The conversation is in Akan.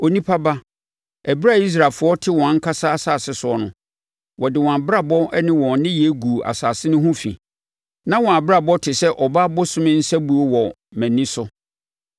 “Onipa ba, ɛberɛ a Israelfoɔ te wɔn ankasa asase soɔ no, wɔde wɔn abrabɔ ne wɔn nneyɛɛ guu asase no ho fi. Na wɔn abrabɔ te sɛ ɔbaa bosome nsabuo wɔ mʼani so.